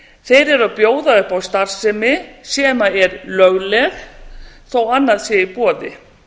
þeir eru að bjóða upp á starfsemi sem er lögleg þó að annað sé í boði